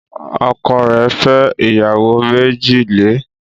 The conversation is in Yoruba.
Ọkọ rẹ̀ fẹ́ ìyàwó méjì le